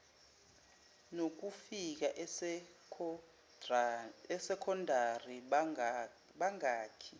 nokufika esekondari bangakhi